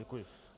Děkuji.